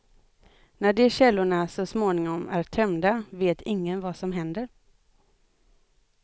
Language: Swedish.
När de källorna så småningom är tömda vet ingen vad som händer.